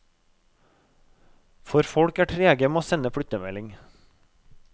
For folk er trege med å sende flyttemelding.